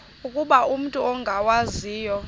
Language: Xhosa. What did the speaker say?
ukuba umut ongawazivo